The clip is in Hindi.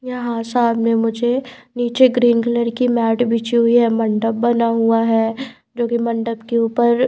यहां सामने मुझे नीचे ग्रीन कलर की मैट बिची हुई है मंडप बना हुआ है जो मंडब के ऊपर--